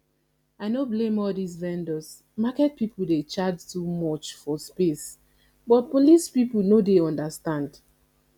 i no blame all dis vendors market people dey charge too much for space but police people no dey understand